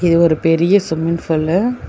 இது ஒரு பெரிய ஸ்விம்மிங் புல்லு .